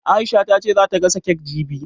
Aisha ta ce za ta gasa kek jibi